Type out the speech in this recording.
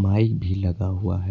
Mic भी लगा हुआ है।